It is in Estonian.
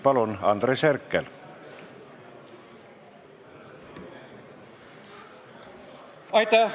Palun, Andres Herkel!